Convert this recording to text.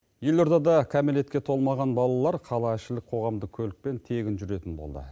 елордада кәмелетке толмаған балалар қала ішілік қоғамдық көлікпен тегін жүретін болды